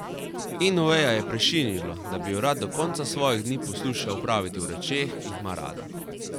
In Oveja je prešinilo, da bi jo rad do konca svojih dni poslušal praviti o rečeh, ki jih ima rada.